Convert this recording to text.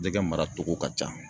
Jɛgɛ mara cogo ka ca